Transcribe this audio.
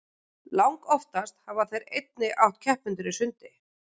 langoftast hafa þeir einnig átt keppendur í sundi